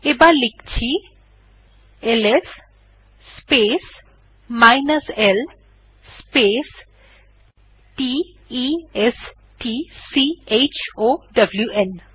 আবার লিখছি LS space l space t e s t c h o w ন